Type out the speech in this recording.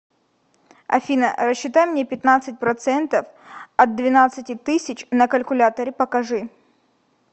афина рассчитай мне пятнадцать процентов от двенадцати тысяч на калькуляторе покажи